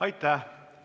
Aitäh!